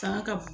Fanga ka bon